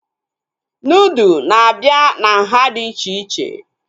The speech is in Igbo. Nudụ na-abịa na nhá dị iche iche